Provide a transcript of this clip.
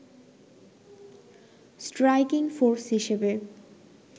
striking force হিসেবে